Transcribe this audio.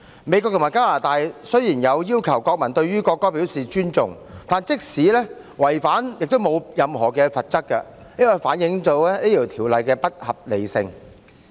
美國和加拿大雖然要求國民尊重國歌，但即使違反要求，也沒有任何的罰則，這反映《條例草案》不合理。